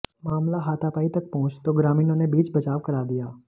मामला हाथापाई तक पहुंच तो ग्रामीणों ने बीच बचाव करा दिया